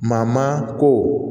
Maa maa ko